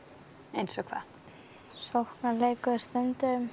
eins og hvað sóknarleikurinn stundum